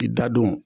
I da don